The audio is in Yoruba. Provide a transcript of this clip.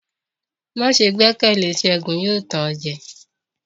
Ma see gbẹkẹle Segun; yóò tàn o jẹ.